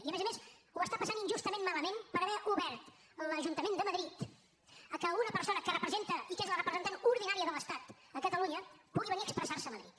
i a més a més ho està passant injustament malament per haver obert l’ajuntament de madrid a que una persona que representa i que és la representant ordinària de l’estat a catalunya pugui venir a expressar se a madrid